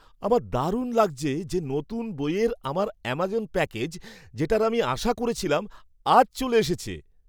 আমার দারুণ লাগছে যে নতুন বইয়ের আমার অ্যামাজন প্যাকেজ, যেটার আমি আশা করছিলাম, আজ চলে এসেছে।